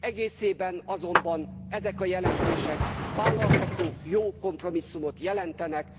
Egészében azonban ezek a jelentések vállalható, jó kompromisszumot jelentenek.